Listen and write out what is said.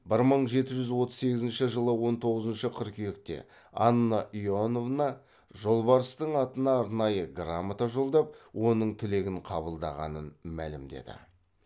бір мың жеті жүз отыз сегізінші жылы он тоғызыншы қыркүйекте анна иоановна жолбарыстың атына арнайы грамота жолдап оның тілегін қабылдағанын мәлімдеді